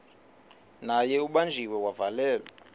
naye ubanjiwe wavalelwa